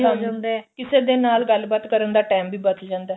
ਹੋ ਜਾਂਦਾ ਕਿਸੇ ਦੇ ਨਾਲ ਗੱਲ ਬਾਤ ਕਰਨ ਦਾ time ਵੀ ਬੱਚ ਜਾਂਦਾ